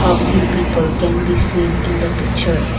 uh few people can be seen in the picture.